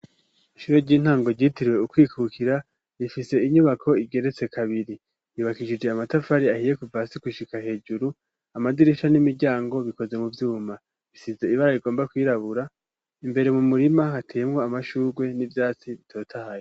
Ishure ry'intango ryitiriwe Ukwikukira rifise inyubako igeretse kabiri. Yubakishije amatafari ahiye kuva hasi gushika hejuru, amadirisha n'imiryango bikoze mu vyuma. Bisize ibara rigomba kwirabura imbere mu murima hateyemwo amashurwe n'vyatsi bitotahaye.